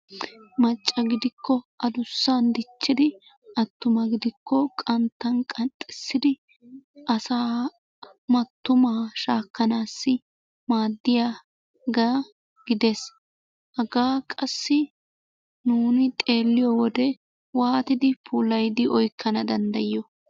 Macca gidikko adussan dichchidi attuma gidikko qanttan qanxxissidi asaa mattumaa shaakkanaassi maaddiyagaa gides. Hagaa qassi nuuni xeelliyo wode waatidi puulayidi oyikkana danddayiyoo?